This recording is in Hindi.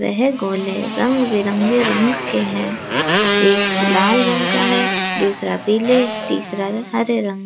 वह गोले रंग बिरंगे रंग के हैं एक लाल रंग का है दूसरा पीले तीसरा हरे रंग --